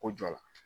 Ko jɔ la